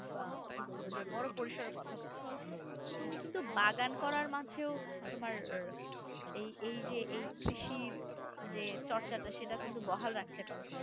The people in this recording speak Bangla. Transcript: বা কি বলবো? যে বড় পরিসরের কথা বললাম তুমি কিন্তু বাগান করার মাঝেও তোমার এই এই যে এই কৃষির যে চর্চাটা সেটা কিন্তু বহাল রাখতে পারো